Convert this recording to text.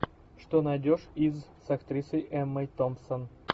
что найдешь из с актрисой эммой томпсон